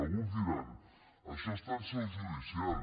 alguns diran això està en seu judicial